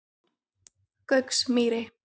Gauksmýri